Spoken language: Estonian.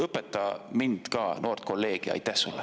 Õpeta mind ka, noort kolleegi!